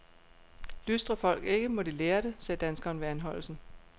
Lystrer folk ikke, må de lære det, sagde danskeren ved anholdelsen.